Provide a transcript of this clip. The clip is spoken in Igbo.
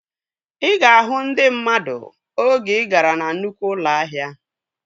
Ị ga-ahụ ndị mmadụ oge ị gara na nnukwu ụlọ ahịa